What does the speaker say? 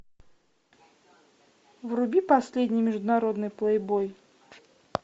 вруби последний международный плейбой